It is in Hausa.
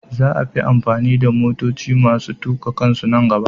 Za a fi amfani da motoci masu tuka kansu nan gaba.